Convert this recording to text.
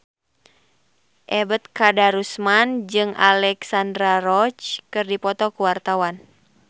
Ebet Kadarusman jeung Alexandra Roach keur dipoto ku wartawan